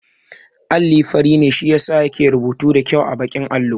Alli fari ne shi yasa yake rubutu da kyau a baƙin allo